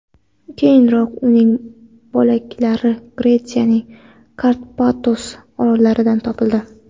Keyinroq uning bo‘laklari Gretsiyaning Karpatos orollaridan topildi.